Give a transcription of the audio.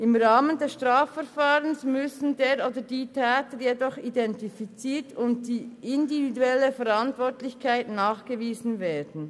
Im Rahmen des Strafverfahrens müssen der oder die Täter jedoch identifiziert und die individuelle Verantwortlichkeit nachgewiesen werden.